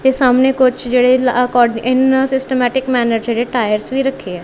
ਏ ਸਾਹਮਨੇ ਕੁਛ ਜੇਹੜੇ ਇਨ ਸਿਸਟੇਮੈਟਿਕ ਮੈਨਰ ਚ ਜੇਹੜੇ ਟਾਇਰਸ ਵੀ ਰੱਖੇ ਆ।